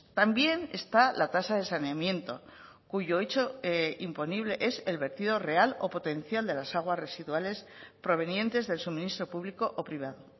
también está la tasa de saneamiento cuyo hecho imponible es el vertido real o potencial de las aguas residuales provenientes del suministro público o privado